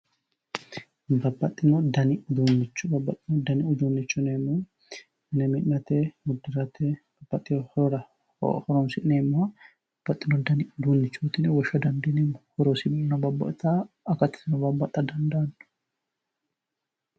Babbaxino danni uduunicho, babbaxino danni uduunicho yineemmohu mine mi'nate uddirate, babbaxewo horora horonsi'nee mmoha babbaxino danni uduunichoti yinne woshsha dandiineemmo horosininno babbaxawo akatunino babbaxa dandaano.